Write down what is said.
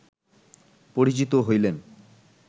পরিচিত হইলেন